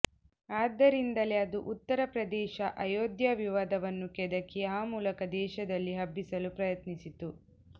ಆದ್ದರಿಂದಲೇ ಅದು ಉತ್ತರ ಪ್ರದೇಶ ಅಯೋಧ್ಯಾ ವಿವಾದವನ್ನು ಕೆದಕಿ ಆ ಮೂಲಕ ದೇಶದಲ್ಲಿ ಹಬ್ಬಿಸಲು ಯತ್ನಿಸಿತು